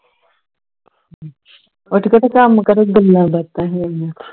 ਉੱਠ ਕੇ ਤੇ ਕੰਮ ਕਰੋ ਗੱਲਾਂ ਬਾਤਾਂ ਹੈਗੀਆਂ